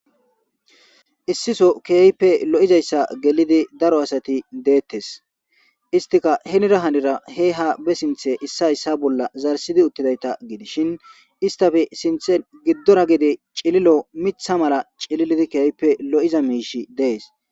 Issisoo keehippe lo7izayssa gelidi daro asathi deththees; isththikka hiniira hiniira hee haa be sinththen issay issa bolla zarisside uththiday7itha gidishi isththepe sinththen giddora gede cililo miththa mala cililidi keehippe lo7iza miishshi dees.